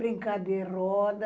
Brincar de roda...